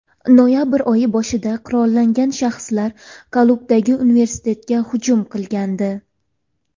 Noyabr oyi boshida qurollangan shaxslar Kobuldagi universitetga hujum qilgandi.